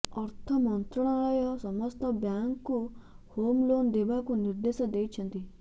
ଅର୍ଥ ମନ୍ତ୍ରଣାଳୟ ସମସ୍ତ ବ୍ୟାଙ୍କକୁ ହୋମ୍ ଲୋନ ଦେବାକୁ ନିର୍ଦ୍ଦେଶ ଦେଇଛନ୍ତି